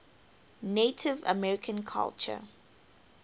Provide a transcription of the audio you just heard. native american culture